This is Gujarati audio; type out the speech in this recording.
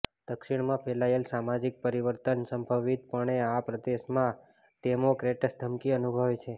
દક્ષિણમાં ફેલાયેલો સામાજિક પરિવર્તન સંભવિતપણે આ પ્રદેશમાં ડેમોક્રેટ્સ ધમકી અનુભવે છે